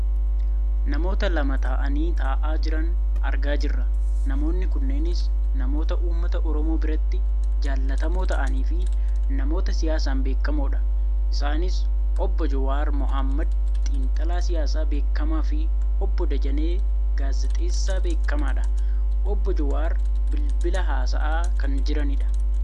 namoota lama ta'anii taa'aa jiran argaa jirra. namoonni kunneenis namoota uummata oromoo biratti jaallatamoo ta'anii fi namoota siyaasaan beekkamoodha. isaani obbo Jawaar mohammed xiinxalaa siyaasaa beekkamaa fi obbo Dajanee gaazexeessaa beekkamaadha. obbo Jawaar bilbila haasa'a kan jiranidha.